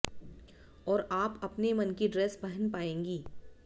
और आप अपने मन की ड्रेस पहन पाएंगी